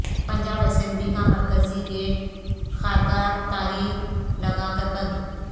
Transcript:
Punjab assembly کا مرکزی gate خاردار تاریں لگا کر بند